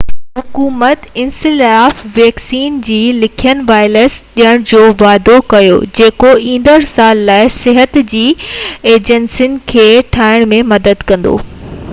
حڪومت encephalitis vaccine جا لکين وائلس ڏيڻ جو واعدو ڪيو جيڪو ايندڙ سال لاءِ صحت جي ايجنسين کي ٺاهڻ ۾ مدد ڪندو